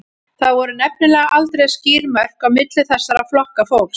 Það voru nefnilega aldrei skýr mörk á milli þessara flokka fólks.